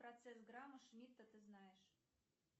процесс грама шмидта ты знаешь